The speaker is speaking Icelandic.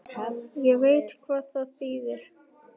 Ég veit hvað það þýðir.